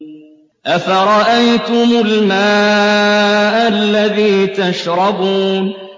أَفَرَأَيْتُمُ الْمَاءَ الَّذِي تَشْرَبُونَ